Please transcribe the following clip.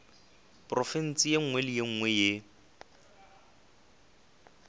profense ye nngwe le ye